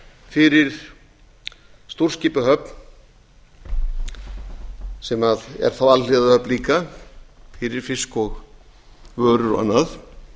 fyrir stórskipahöfn sem er þá alhliða höfn líka fyrir fisk og vörur og annað